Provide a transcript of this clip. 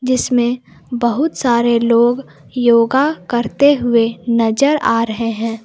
जिसमें बहुत सारे लोग योगा करते हुए नजर आ रहे हैं।